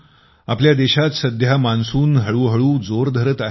आपल्या देशात सध्या मान्सून हळूहळू जोर धरत आहे